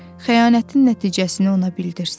xəyanətin nəticəsini ona bildirsin.